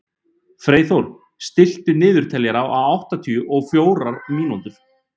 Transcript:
Freyþór, stilltu niðurteljara á áttatíu og fjórar mínútur.